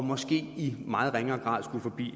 måske i meget ringere grad skulle forbi det